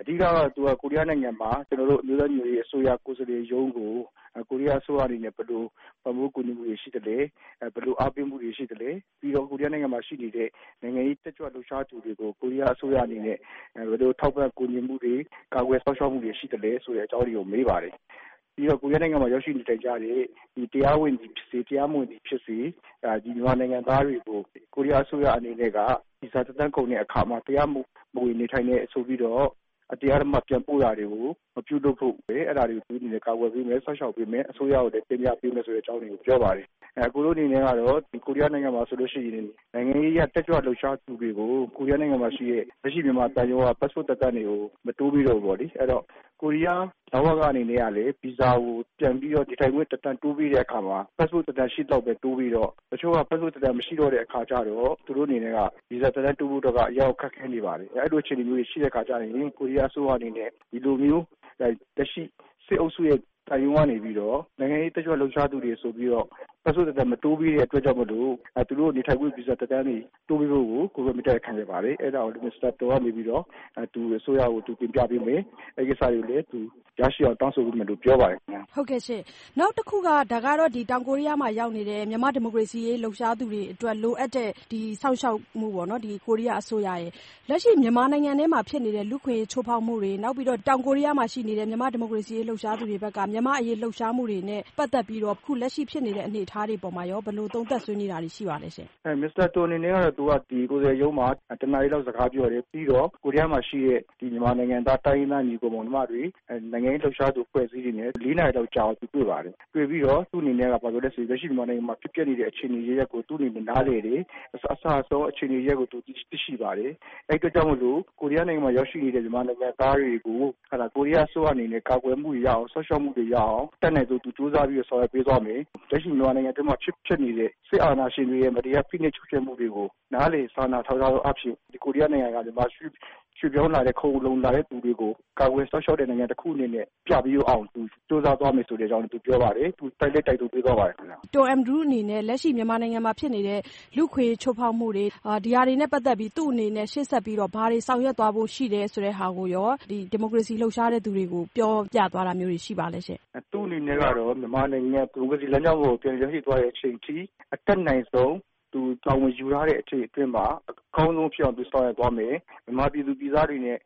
အဓိက ကတော့ ကိုရီးယားနိုင်ငံမှာ ကျနော်တို့ အမျိုးသားညီညွတ်ရေးအစိုးရကိုယ်စားလှယ်ရုံးကို ကိုရီးယားအစိုးရအနေနဲ့ ဘယ်လို ပံ့ပိုးကူညီမှုတွေရှိသလဲ၊ ဘယ်လိုအားပေးမှုတွေရှိသလဲ၊ ပြီးတော့ ကိုရီးယားနိုင်ငံမှာရှိနေတဲ့ နိုင်ငံရေးတက်ကြွလှုပ်ရှားသူတွေကို ကိုရီးယားအစိုးရအနေနဲ့ ဘယ်လိုထောက်ပံ့ကူညီမှုတွေ၊ ကာကွယ်စောင့်ရှောက်မှုတွေရှိသလဲ-ဆိုတဲ့အကြောင်းတွေကို မေးပါတယ်။ ပြီးတော့ ကိုရီးယားနိုင်ငံမှာ ရောက်ရှိနေထိုင်ကြတဲ့ တရားဝင်သည်ဖြစ်စေ၊ တရားမဝင်သည်ဖြစ်စေ - မြန်မာနိုင်ငံသားတွေကို ကိုရီးယားအစိုးရအနေနဲ့က ဗီဇာသက်တမ်းကုန်တဲ့အခါမှာ တရားမဝင်နေထိုင်တယ်ဆိုပြီးတော့ အတင်းအဓမ္မပြန်ပို့တာတွေကို မပြုလုပ်ဖို့- အဲဒါတွေကို သူတို့အနေနဲ့ ကာကွယ်ပေးမယ်၊ စောင့်ရှောက်ပေးမယ်၊ အစိုးရကိုလည်း တင်ပြပေးမယ်ဆိုတဲ့အကြောင်းတွေကိုလည်း ပြောပါတယ်။ ကျနော်တို့အနေနဲ့ကတော့ ကိုရီးယားနိုင်ငံမှာဆိုလို့ရှိရင် နိုင်ငံရေးအရ တက်ကြွလှုပ်ရှားသူတွေကို ကိုရီးယားနိုင်ငံမှာရှိတဲ့ လက်ရှိမြန်မာသံရုံးက ပတ်စ်ပို့သက်တမ်းတွေကို မတိုးပေးတော့ဘူးပေါ့လေ။ အဲဒီတော့ ကိုရီးယား လဝကအနေနဲ့ကလည်း ဒါကို ပြန်ပြီးတော့ နေထိုင်ခွင့်သက်တမ်းတိုးပေးတဲ့အခါမှာ ပတ်စ်ပို့သက်တမ်းရှိသလောက်ပဲ တိုးပေးတော့ တချို့က ပတ်စ်ပို့သက်တမ်း မရှိတော့တဲ့အခါကျတော့ သူတို့အနေနဲ့က ဗီဇာသက်တမ်းတိုးဖို့အတွက်က အရမ်းကိုခက်ခဲနေပါတယ်။ အဲဒီလိုအခြေအနေမျိုးတွေ ရှိတဲ့အခါကျရင် ကိုရီးယားအစိုးရအနေနဲ့ ဒီလိုမျိုး လက်ရှိ စစ်အုပ်စုရဲ့သံရုံးကနေပြီးတော့ နိုင်ငံရေး တက်ကြွလှုပ်ရှားသူတွေ ဆိုပြီးတော့ ပတ်စ်ပို့သက်တမ်း မတိုးပေးတဲ့အတွက်ကြောင့်မို့လို့ သူတို့ ဗီဇာ နေထိုင်ခွင့်သက်တမ်းတွေ တိုးပေးဖို့ကို မေတ္တာရပ်ခံခဲ့ပါတယ်။ အဲဒါကြောင့် မစ္စတာ တွမ် ကနေပြီးတော့ ဒီအစိုးရကို တင်ပြပေးမယ်၊ အဲဒီကိစ္စတွေကိုလည်း ရရှိအောင် သူတောင်းဆိုပေးမယ်လို့ ပြောပါတယ်ခင်ဗျ။ မဆုမွန်။ ။ ဟုတ်ကဲ့ရှင့်။ နောက်တခုက ဒါကတော့ တောင်ကိုရီးယားမှာရောက်နေတဲ့ မြန်မာ့ဒီမိုကရေစီအရေး လှုပ်ရှားသူတွေအတွက် ကိုရီးယားအစိုးရရဲ့ လိုအပ်တဲ့စောင့်ရှောက်မှုပေါ့နော်၊ လက်ရှိ မြန်မာနိုင်ငံထဲမှာဖြစ်နေတဲ့ လူ့အခွင့်အရေးချိုးဖောက်မှုတွေ၊ နောက်ပြီးတော့ တောင်ကိုရီးယားမှာရှိနေတဲ့ မြန်မာ့ဒီမိုကရေစီအရေး လှုပ်ရှားသူတွေဘက်က မြန်မာ့အရေးလှုပ်ရှားမှုတွေနဲ့ပတ်သက်ပြီးတော့ အခု လက်ရှိဖြစ်နေတဲ့ အနေအထားတွေအပေါ်မှာရော ဘယ်လို သုံးသပ်ဆွေးနွေးတာတွေ ရှိပါသလဲရှင့်။ ကိုရန်နိုင်ထွန်း။ ။ မစ္စတာတွမ် အနေနဲ့ကတော့ သူက ကိုယ်စားလှယ်ရုံးမှာ တနာရီလောက် စကားပြောတယ်။ ပြီးတော့ ကိုရီးယားမှာရှိတဲ့ မြန်မာနိုင်ငံသား တိုင်းရင်းသားညီအကိုမောင်နှမတွေ၊ နိုင်ငံရေးလှုပ်ရှားသူအဖွဲ့အစည်းတွေနဲ့ လေးနာရီလောက်ကြာအောင် သူတွေ့ပါတယ်။ တွေ့ပြီးတော့ သူ့အနေနဲ့က လက်ရှိမြန်မာနိုင်ငံမှာဖြစ်ပျက်နေတဲ့ အခြေအနေအရပ်ရပ်ကို သူ့အနေနဲ့ နားလည်တယ်၊ အစအဆုံး အခြေအနေအရပ်ရပ်ကို သူသိရှိပါတယ်၊ အဲဒီအတွက်ကြောင့်မို့လို့ ကိုရီးယားနိုင်ငံမှာရောက်ရှိနေတဲ့ မြန်မာနိုင်ငံသားတွေကို ကိုရီးယားအစိုးရအနေနဲ့ ကာကွယ်မှုရအောင်၊ စောင့်ရှောက်မှုတွေရအောင် အတတ်နိုင်ဆုံး သူကြိုးစားပြီးတော့ ဆောင်ရွက်ပေးသွားမယ်၊ လက်ရှိ မြန်မာနိုင်ငံအတွင်းမှာဖြစ်နေတဲ့ စစ်အာဏာရှင်တွေရဲ့ မတရားဖိနှိပ်ချုပ်ခြယ်မှုတွေကို နားလည် စာနာထောက်ထားသောအားဖြင့် ကိုရီးယားနိုင်ငံမှာ ရွှေ့ပြောင်းလာတဲ့၊ ခိုလှုံလာတဲ့သူတွေကို ကာကွယ်စောင့်ရှောက်တဲ့နိုင်ငံတခုအနေနဲ့ပြပေးအောင် သူကြိုးစားသွားမယ်ဆိုတဲ့အကြောင်း သူပြောပါတယ်။ သူ တိုက်လည်း တိုက်တွန်းပေးသွားပါတယ်ခင်ဗျ။ မဆုမွန်။ ။ တွမ် အင်ဒရူးစ်အနေနဲ့ လက်ရှိမြန်မာနိုင်ငံမှာဖြစ်နေတဲ့ လူ့အခွင့်အရေးချိုးဖောက်မှုတွေ - ဒီဟာတွေနဲ့ပတ်သက်ပြီး သူ့အနေနဲ့ ရှေ့ဆက်ပြီးတော့ ဘာတွေဆောင်ရွက်သွားဖို့ရှိတယ်-ဆိုတဲ့ဟာကိုရော ဒီမိုကရေစီလှုပ်ရှားတဲ့သူတွေကို ပြောပြသွားတာမျိုးတွေ ရှိပါသလားရှင့်။ ကိုရန်နိုင်ထွန်း။ ။ သူ့အနေနဲ့ကတော့ မြန်မာနိုင်ငံ ဒီမိုကရေစီလမ်းကြောင်းပေါ်ကို ပြန်လည်ရောက်ရှိတဲ့အချိန်အထိ အတတ်နိုင်ဆုံး သူတာဝန်ယူရတဲ့အချိန်အတွင်းမှာ အကောင်းဆုံးဖြစ်အောင် သူဆောင်ရွက်သွားမယ်။ မြန်မာပြည်သူပြည်သားတွေနဲ့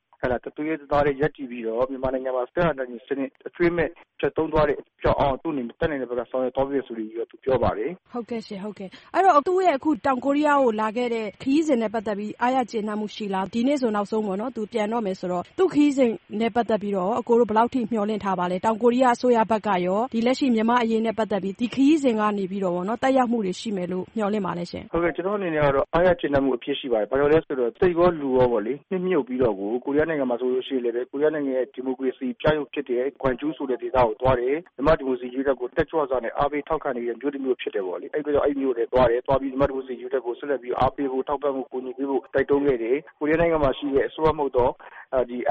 တသွေးတည်း တသားတည်းရပ်တည်ပြီးတော့ မြန်မာနိုင်ငံမှာ စစ်အာဏာရှင်စနစ် အကြွင်းမဲ့ပျက်သုဉ်းသွားတဲ့အဆင့်ရောက်အောင် သူ့အနေနဲ့ တတ်နိုင်တဲ့ဘက်က ဆောင်ရွက်သွားဖို့ဆိုပြီးတော့ ပြောပါတယ်။ မဆုမွန်။ ။ ဟုတ်ကဲ့ရှင့်။ ဟုတ်ကဲ့၊ အဲဒီတော့ သူ့ရဲ့အခု တောင်ကိုရီးယားကိုလာခဲ့တဲ့ ခရီးစဉ်နဲ့ပတ်သက်ပြီး အားရကျေနပ်မှုရှိလား၊ ဒီနေ့ဆို နောက်ဆုံးပေါ့နော်-သူ ပြန်တော့မယ်ဆိုတော့- သူ့ခရီးစဉ်နဲ့ပတသ်က်ပြီးတော့ရော ဘယ်လောက်အထိ မျှော်လင့်ထားပါလဲ။ တောင်ကိုရီးယားအစိုးရဘက်ကရော လက်ရှိ မြန်မာ့အရေးနဲ့ပတ်သက်ပြီး ဒီခရီးစဉ်ကနေပြီးတော့ရော သက်ရောက်မှုတွေရှိမယ်လို့ မျှော်လင့်ပါသလားရှင့်။ ကိုရန်နိုင်ထွန်း။ ။ ကျနော့်အနေနဲ့ကတော့ အားရကျေနပ်မှုအပြည့်ရှိပါတယ်။ ဘာကြောင့်လဲဆိုတော့ စိတ်ကော လူကောပေါ့လေ၊ နှစ်မြုပ်ပြီးတော့ကို ကိုရီးယားနိုင်ငံမှာဆိုလို့ရှိရင်လည်း ကိုရီးယားနိုင်ငံရဲ့ ဒီမိုကရေစီပြယုဒ်ဖြစ်တဲ့ ဂွမ်ဂျူးဆိုတဲ့ဒေသကို သွားတယ်။ မြန်မာ့ဒီမိုကရေစီအရေးအတွကို တက်ကြွစွာနဲ့ အားပေးထောက်ခံနေတဲ့ မြို့တမြို့ဖြစ်တယ်ပေါ့လေ၊ အဲဒီအတွက်ကြောင့် အဲဒီမြို့ကိုလည်းသွားတယ်။ သွားပြီး မြန်မာ့ဒီမိုကရေစီအရေးအတွက်ကို အားပေးဖို့၊ ထောက်ပံ့ဖို့၊ ကူညီပေးဖို့ တိုက်တွန်းခဲ့တယ်။ ကိုရီးယားနိုင်ငံမှာရှိတဲ့ အစိုးရမဟုတ်သော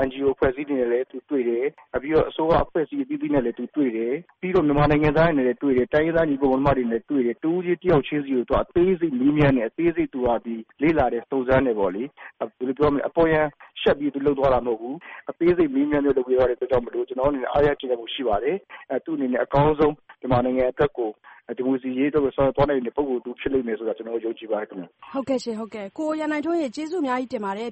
NGO အဖွဲ့အစည်းတွေနဲ့လည်း သူတွေ့တယ်။ ပြီးတော့ အစိုးရအဖွဲ့အစည်းအသီးသီးနဲ့လည်း သူတွေ့တယ်။ ပြီးတော့ မြန်မာနိုင်ငံသားတွေနဲ့လည်း တွေ့တယ်။ တိုင်းရင်းသားညီအကိုမောင်နှမတွေနဲ့လည်း တွေ့တယ်။ တဦးချင်းတယောက်ချင်းစီကို အသေးစိတ် မေးမြန်းတယ်။ သူက အသေးစိတ် လေ့လာတယ်၊ စုံစမ်းတယ်။ အပေါ်ယံရှပ်ပြီး သူလုပ်သွားတာမဟုတ်ဘူး။ အသေးစိတ်မေးမြန်းလုပ်ပေးသွားတဲ့အတွက်ကြောင့်မို့လို့ ကျနော်တို့အနေနဲ့ အားရကျေနပ်မှုရှိပါတယ်။ သူ့အနေနဲ့ အကောင်းဆုံး မြန်မာနိုင်ငံအတွက်ကို၊ ဒီမိုကရေစီအရေးအတွက်ကို ဆောင်ရွက်သွားနိုင်မယ့် ပုဂ္ဂိုလ်တဦးဖြစ်လိမ့်မယ်ဆိုတာကို ကျနော်တို့ယုံကြည်ပါတယ်ခင်ဗျ။ မဆုမွန်။ ။ ဟုတ်ကဲ့ရှင့်၊ ဟုတ်ကဲ့၊ ကိုရန်နိုင်ထွန်းရေ ဖြေပေးတာ ကျေးဇူးအများကြီးတင်ပါတယ်